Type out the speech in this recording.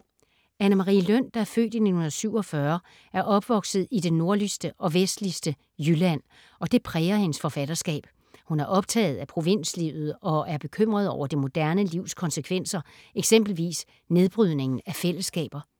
Anne Marie Løn, der er født i 1947, er opvokset i det nordligste og vestligste Jylland og det præger hendes forfatterskab. Hun er optaget af provinslivet og er bekymret over det moderne livs konsekvenser, eksempelvis nedbrydningen af fællesskaber.